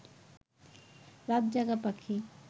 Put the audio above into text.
রাত জাগা পাখি